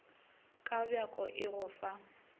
ka bjako e go fa